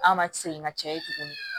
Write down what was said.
An ma segin ka caya ye tugun